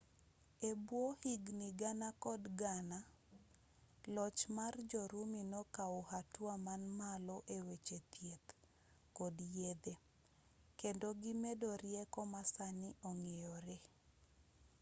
ebwo higni gana kod gana loch mar jo-rumi nokaw hatua man malo eweche thieth kod yedhe kendo gimedo rieko masani ong'eyoree